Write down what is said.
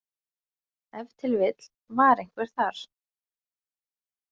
Ef til vill var einhver þar.